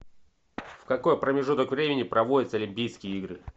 в какой промежуток времени проводятся олимпийские игры